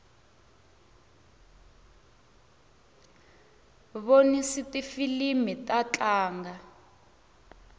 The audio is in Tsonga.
vonsni tifilimi ta tlanga